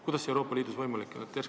Kuidas see Euroopa Liidus võimalik on?